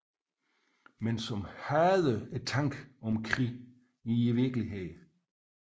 Men som hader tanken om krig i virkeligheden